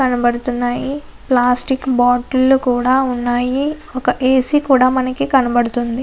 కనబడుతూ ఉన్నాయి. Plastic bottles కూడా ఉన్నాయి. ఒక ఏసీ కూడా మనకు కనబడుతోంది.